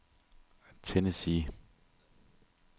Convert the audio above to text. Tennessee